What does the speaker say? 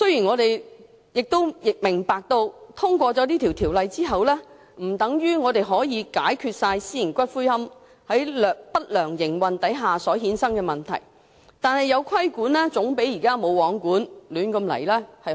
我明白通過《條例草案》，並不等於可以解決所有私營龕場不良營運所產生的問題，但有規管總比現時"無皇管"的亂局好。